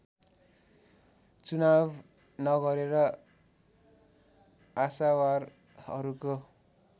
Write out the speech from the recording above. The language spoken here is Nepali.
चुनाव नगरेर आशावारहरूको